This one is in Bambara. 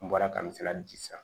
N bɔra ka n se ka ji san